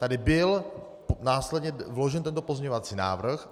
Tady byl následně vložen tento pozměňovací návrh.